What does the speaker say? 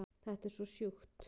Þetta er svo sjúkt